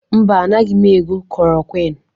Mba, anaghị m ego klorokwịn.